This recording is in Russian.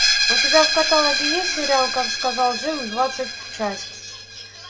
у тебя в каталоге есть сериал как сказал джим двадцатая часть